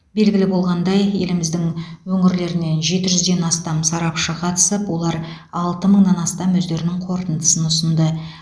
белгілі болғандай еліміздің өңірлерінен жеті жүзден астам сарапшы қатысып олар алты мыңнан астам өздерінің қорытындысын ұсынды